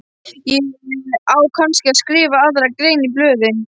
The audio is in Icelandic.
Á kannski að skrifa aðra grein í blöðin?